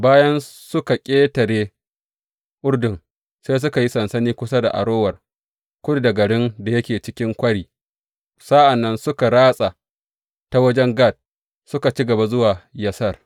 Bayan suka ƙetare Urdun, sai suka yi sansani kusa da Arower, kudu da garin da yake cikin kwari, sa’an nan suka ratsa ta wajen Gad, suka ci gaba zuwa Yazer.